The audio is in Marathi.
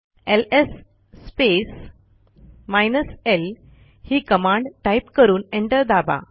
एलएस l ही कमांड टाईप करून एंटर दाबा